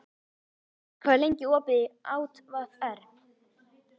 Aldey, hvað er lengi opið í ÁTVR?